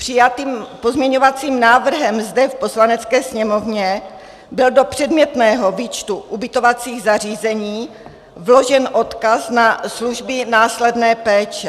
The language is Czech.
Přijatým pozměňovacím návrhem zde v Poslanecké sněmovně byl do předmětného výčtu ubytovacích zařízení vložen odkaz na služby následné péče.